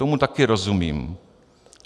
Tomu také rozumím.